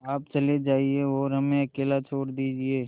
आप चले जाइए और हमें अकेला छोड़ दीजिए